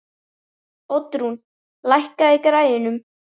Oddrún, lækkaðu í græjunum.